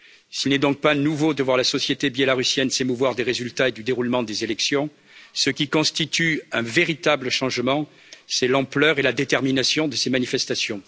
S'il n'est donc pas nouveau de voir la société biélorusse s'émouvoir des résultats et du déroulement des élections, ce qui constitue un véritable changement c'est l'ampleur et la détermination de ces manifestations.